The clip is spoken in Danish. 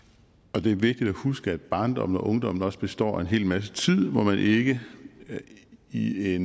og det er vigtigt at huske at barndommen og ungdommen også består af en hel masse tid hvor man ikke i i